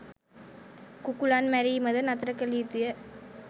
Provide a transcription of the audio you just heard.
කුකුළන් මැරීමද නතර කළ යුතු ය.